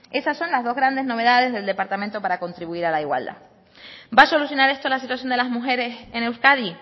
esas son las dos grandes novedades del departamento para contribuir a la igualdad va a solucionar esto la situación de las mujeres en euskadi